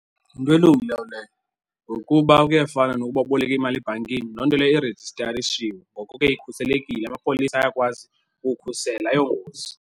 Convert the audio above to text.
Yinto elungileyo leyo, ngokuba kuyafana nokuba uboleke imali ebhankini. Loo nto leyo irejistarishiwe, ngoko ke ikhuselekile. Amapolisa ayakwazi ukukhusela, ayongozi.